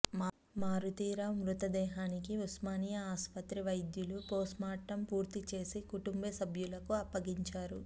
మారుతీరావు మృతదేహానికి ఉస్మానియా ఆసుపత్రి వైద్యులు పోస్ట్మార్టం పూర్తి చేసి కుటుంబసభ్యులకు అప్పగించారు